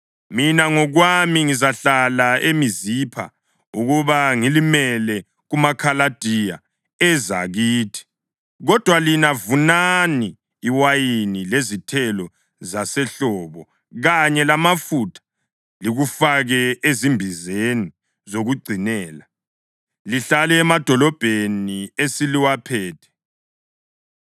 Mina ngokwami ngizahlala eMizipha ukuba ngilimele kumaKhaladiya eza kithi, kodwa lina vunani iwayini lezithelo zasehlobo kanye lamafutha, likufake ezimbizeni zokugcinela, lihlale emadolobheni eseliwaphethe.”